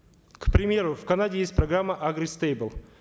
к примеру в канаде есть программа агри стэйбл